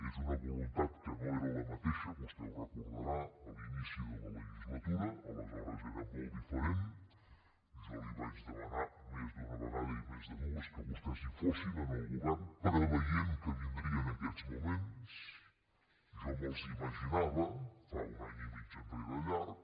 és una voluntat que no era la mateixa vostè ho deu recordar a l’inici de la legislatura aleshores era molt diferent jo li vaig demanar més d’una vegada i més de dues que vostès hi fossin en el govern preveient que vindrien aquests moments jo me’ls hi imaginava fa un any i mig enrere llarg